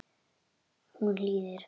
Hún hlýðir.